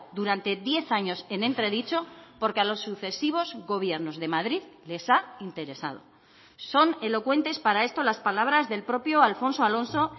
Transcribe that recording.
durante diez años en entredicho porque a los sucesivos gobiernos de madrid les ha interesado son elocuentes para esto las palabras del propio alfonso alonso